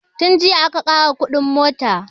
Tun jiya aka ƙara kuɗin mota